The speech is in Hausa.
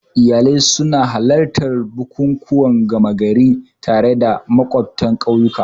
Iyalai sun halarci bukukuwan gama gari tare da makwabtan ƙauyuka.